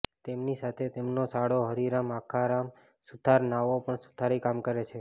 તેમની સાથે તેમનો સાળો હરિરામ અખારામ સુથાર નાઓ પણ સુથારી કામ કરે છે